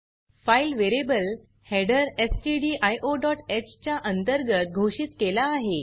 file variable header stdioह च्या अंतर्गत घोषित केला आहे